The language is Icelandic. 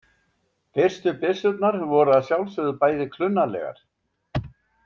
Fyrstu byssurnar voru að sjálfsögðu bæði klunnalegar.